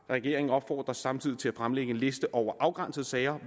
regeringen opfordres samtidig til at fremlægge en liste over afgrænsede sager